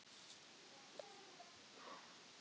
Magnús: Hvaða upphæð erum við að tala um?